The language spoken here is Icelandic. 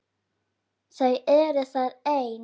Þau eru þar ein.